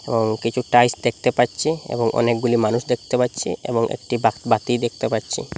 ও কিছু টাইলস দেখতে পাচ্ছি এবং অনেকগুলি মানুষ দেখতে পাচ্ছি এবং একটি বাক-বাতি দেখতে পাচ্ছি।